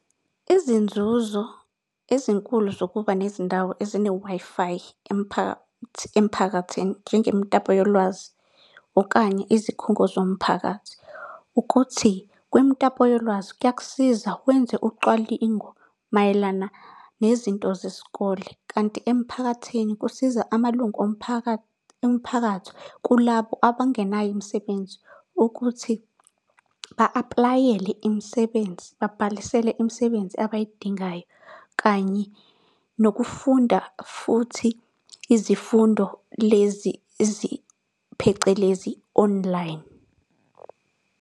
Izinzuzo ezinkulu zokuba nezindawo ezine-Wi-Fi emphakathini njengemitapo yolwazi, okanye izikhungo zomphakathi, ukuthi kwimitapo yolwazi kuyakusiza wenze ucwalingo mayelana nezinto zesikole. Kanti emphakathini kusiza amalungu emphakathi kulabo abangenayo imisebenzi, ukuthi ba-aplayele imisebenzi, babhalisele imisebenzi abayidingayo. Kanye nokufunda futhi izifundo lezi phecelezi, online.